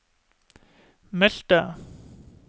meldte